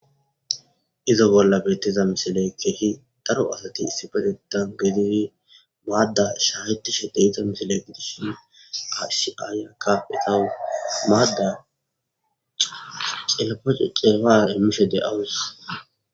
Iza bolla betiza misiley keeh daro asati issipetetan gidid maada shahetishe de'iza misile besishn ba issi ayiyaka etawu maada cilpada cilpara imashe de'awusi.